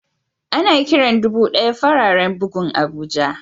Ana Kiran dubu daya fararen bugun abuja.